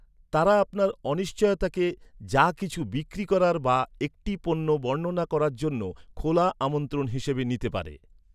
তারা আপনার অনিশ্চয়তাকে, যা কিছু বিক্রি করার বা একটি পণ্য বর্ণনা করার জন্য খোলা আমন্ত্রণ হিসাবে নিতে পারে।